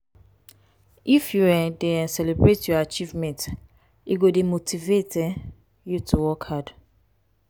if you um dey um celebrate your achievements e go dey motivate um you to work hard.